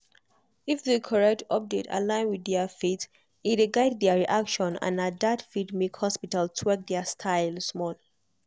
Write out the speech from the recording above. if the correct update align with their faith e dey guide their reaction and na that fit make hospital tweak their style small.